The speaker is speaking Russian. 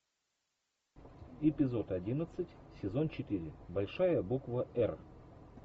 эпизод одиннадцать сезон четыре большая буква р